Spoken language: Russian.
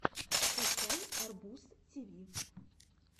скачай арбуз тиви